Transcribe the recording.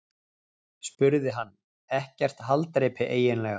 spurði hann: Ekkert haldreipi eiginlega.